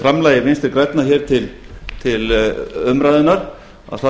framlagi vinstri grænna hér til umræðunnar að